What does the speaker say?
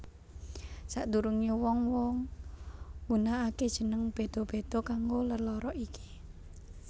Sak derunge wong wong nggunake jeneng bedha bedha kanggo lelara iki